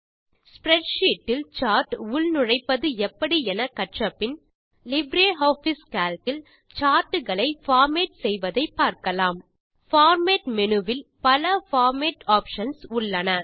spreadsheet இல் chart உள்நுழைப்பது எப்படி என கற்றபின் லிப்ரியாஃபிஸ் கால்க் இல் சார்ட் களை பார்மேட் செய்வதை பார்க்கலாம் பார்மேட் மேனு ல் பல பார்மேட்டிங் ஆப்ஷன்ஸ் உள்ளன